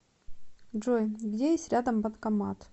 джой где есть рядом банкомат